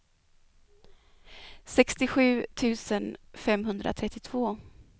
sextiosju tusen femhundratrettiotvå